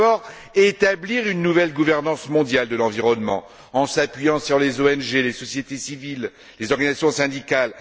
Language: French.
Tout d'abord, établir une nouvelle gouvernance mondiale de l'environnement, en s'appuyant sur les ONG, les sociétés civiles, les organisations syndicales.